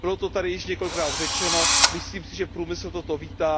Bylo to tady již několikrát řečeno, myslím si, že průmysl toto vítá.